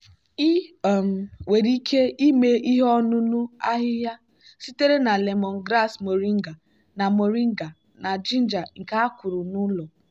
ị um nwere ike ime ihe ọṅụṅụ ahịhịa sitere na lemongrass moringa na moringa na ginger nke a kụrụ n'ụlọ.